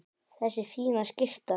Þessi fína skyrta!